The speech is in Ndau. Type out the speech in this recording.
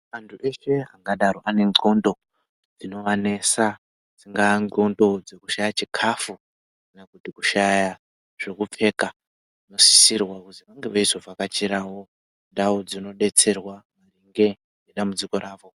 Antu eshe angadaro ane ndxondo dzinovanesa dzingava ndxondo dzekushaya chikafu kana kuti kushaya zvekupfeka vanosisirwa kuzi vange veizovhakachirawo ndau dzinodetserwa nge ngedambudziko ravo.